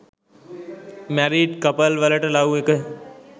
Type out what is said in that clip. married couple වලට love එක